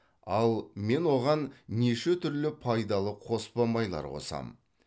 ал мен оған неше түрлі пайдалы қоспа майлар қосамын